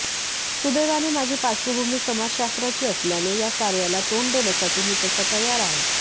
सुदैवाने माझी पार्श्वभूमी समाजशास्त्राची असल्याने या सार्याला तोंड देण्यासाठी मी तसा तयार आहे